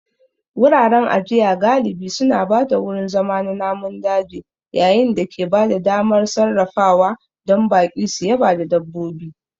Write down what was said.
Wuraren ajiya galibi suna ba da wurin zama na namun daji yayin da ke ba da damar sarrafawa don baƙi su yaba da dabbobi